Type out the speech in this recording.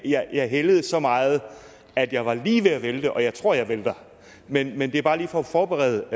jeg hældede så meget at jeg var lige ved at vælte og jeg tror jeg vælter men men det er bare lige for at forberede